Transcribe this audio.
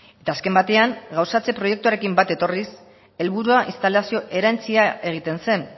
eta azken batean gauzatze proiektuarekin bat etorriz helburua instalazio erantsia egiten zen